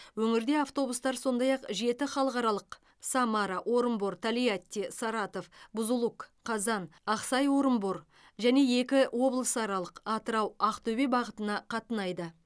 өңірде автобустар сондай ақ жеті халықаралық самара орынбор тольятти саратов бузулук қазан ақсай орынбор және екі облысаралық атырау ақтөбе бағытына қатынайды